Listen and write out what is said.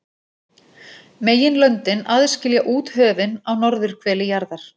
Meginlöndin aðskilja úthöfin á norðurhveli jarðar.